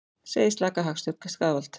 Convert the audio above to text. Segir slaka hagstjórn skaðvald